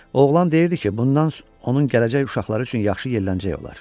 Oğlan deyirdi ki, bundan onun gələcək uşaqları üçün yaxşı yerlənəcək olar.